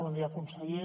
bon dia conseller